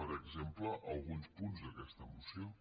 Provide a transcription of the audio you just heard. per exemple alguns punts d’aquesta moció